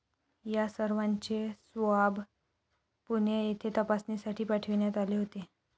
यासर्वांचे swab Pune येथे तपासणीसाठी पाठविण्यात आले होते.